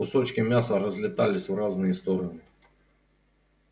кусочки мяса разлетались в разные стороны